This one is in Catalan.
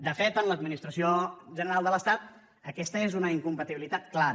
de fet en l’administració general de l’estat aquesta és una incompatibilitat clara